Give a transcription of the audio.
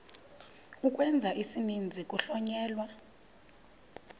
ukwenza isininzi kuhlonyelwa